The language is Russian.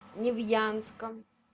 невьянска